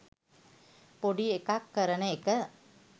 පොඩි එකක් කරන එක.